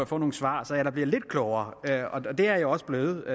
får nogle svar så jeg da bliver lidt klogere det er jeg også blevet